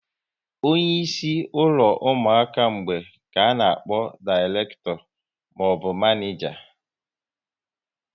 Onye isi ụlọ ụmụaka mgbei ka a na akpọ direkto maọbụ manija